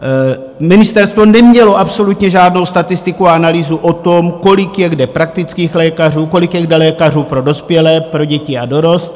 Ministerstvo nemělo absolutně žádnou statistiku a analýzu o tom, kolik je kde praktických lékařů, kolik je kde lékařů pro dospělé, pro děti a dorost.